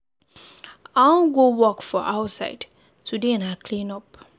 I wan go work for outside, today na clean up.